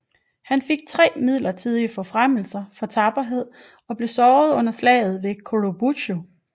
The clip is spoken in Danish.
Han fik 3 midlertidige forfremmelser for tapperhed og blev såret under Slaget ved Churubusco